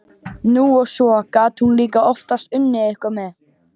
Nú, og svo gat hún líka oftast unnið eitthvað með.